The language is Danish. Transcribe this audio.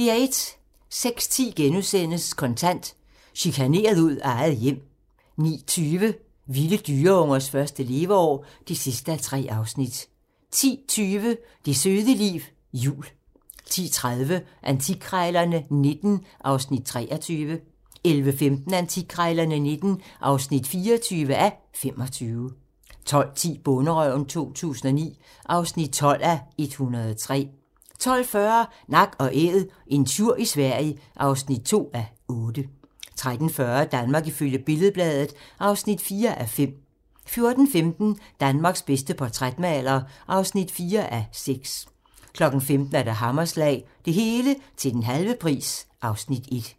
06:10: Kontant: Chikaneret ud af eget hjem * 09:20: Vilde dyreungers første leveår (3:3) 10:20: Det søde liv jul 10:30: Antikkrejlerne XIX (23:25) 11:15: Antikkrejlerne XIX (24:25) 12:10: Bonderøven 2009 (12:103) 12:40: Nak & Æd - en tjur i Sverige (2:8) 13:40: Danmark ifølge Billed-Bladet (4:5) 14:15: Danmarks bedste portrætmaler (4:6) 15:00: Hammerslag - Det hele til den halve pris (Afs. 1)